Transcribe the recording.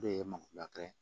O de ye maki lakana